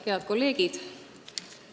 Head kolleegid!